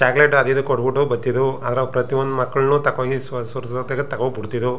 Chocolate ಅದು ಇದು ಕೊಟ್ಟಬಿಟ್ಟು ಬರ್ತಿದ್ವು ಆದರೆ ಪ್ರತಿಯೊಂದು ಮಕ್ಕಳನ್ನು ತಕೋ ಹೋಗಿ ಸುರಿದು ತಗೋ ಬಿಡ್ತಿದ್ವು.